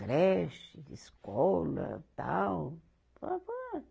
Creche, de escola, tal.